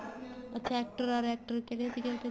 ਅੱਛਾ actor or actor ਕਿਹੜੇ ਸੀਗੇ